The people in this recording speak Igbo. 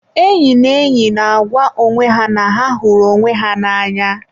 enyi na enyi na-agwa onwe ha na ha hụrụ onwe ha n'anya.